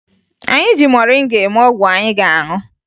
Anyị ji moringa eme ọgwụ anyị ga-aṅụ